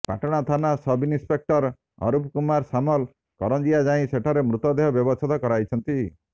ପାଟଣା ଥାନା ସବ୍ଇନ୍ସପେକ୍ଟର ଅରୁପ କୁମାର ସାମଲ କରଞ୍ଜିଆ ଯାଇ ସେଠାରେ ମୃତଦେହ ବ୍ୟବଚ୍ଛେଦ କରାଇଛନ୍ତି